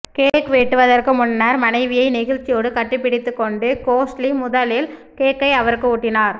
cake வெட்டுவதற்கு முன்னர் மனைவியை நெகிழ்ச்சியோடு கட்டி பிடித்து கொண்ட கோஹ்லி முதலில் கேக்கை அவருக்கு ஊட்டினார்